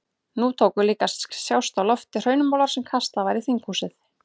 Nú tóku líka að sjást á lofti hraunmolar sem kastað var í þinghúsið.